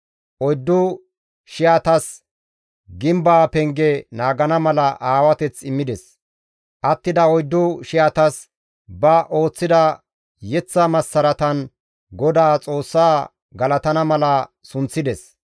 Oyddu shiyatas gimbeza penge naagana mala aawateth immides; attida oyddu shiyatas ba ooththida yeththa massaratan GODAA Xoossa galatana mala sunththides.